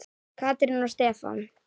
Katrín og Stefán.